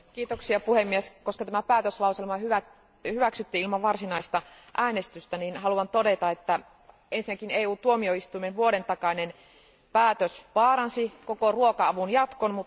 Arvoisa puhemies, koska tämä päätöslauselma hyväksyttiin ilman varsinaista äänestystä, niin haluan todeta, että ensinnäkin EU tuomioistuimen vuoden takainen päätös vaaransi koko ruoka avun jatkon.